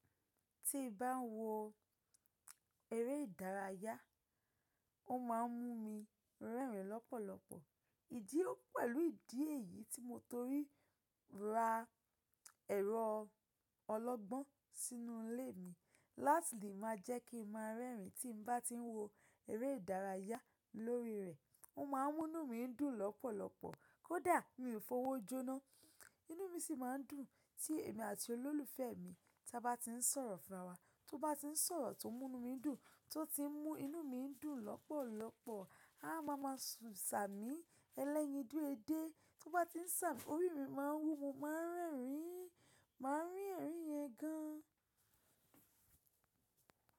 Tí n bá ń wo eré ìdárayá, ó máa ń mú mi rẹ́rìn lọ́pọ̀lọpọ̀. Ìdí pẹ̀lú ìdí èyí tí mo torí ra ẹ̀rọ ọlọ́gbọ́n sínú ilé mi. Láti lè má jẹ́ kí n má rẹ́rìn tí n bá ti ń wo eré ìdárayá lórí rẹ̀. Ó ma ń mú inú mi dùn lọ́pọ̀lọpọ̀ kó dà mí f'ówójo ná. Inú mi sì ma ń dùn tí èmi àti olólùfẹ́ mi ta bá ti ń sọ̀rọ̀ fún ara wa. Tó bá ti ń sọ̀rọ̀ tó ń mú inú mi dùn, tó ti ń mú inú mi dùn lọ́pọ̀lọpọ̀, a máa ma sàmí ẹlẹ́yin oju edé. Tó bá ti ń sàmí orí mi má ń wú, mo ma ń rẹ́rìn, ma ń rí ẹ̀rín yẹn gan.